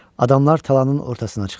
Adamlar talanın ortasına çıxdı.